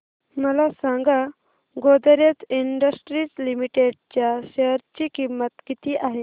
मला सांगा Godrej industries limited च्या शेअर ची किंमत किती आहे